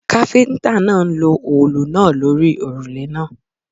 Káfíntà náà ń lo òòlù náà lórí òrùlé náà.